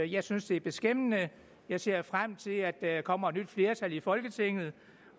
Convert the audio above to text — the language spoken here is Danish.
jeg synes det er beskæmmende jeg ser frem til at der kommer et nyt flertal i folketinget